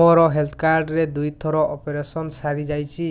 ମୋର health card ରେ ଦୁଇ ଥର ଅପେରସନ ସାରି ଯାଇଛି